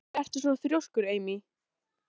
Þess vegna kannski sem við skálduðum um hana sögu.